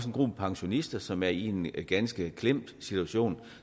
en gruppe pensionister som er i en ganske klemt situation